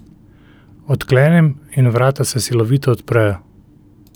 Odklenem in vrata se silovito odprejo.